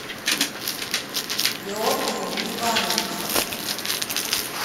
георгием ивановичем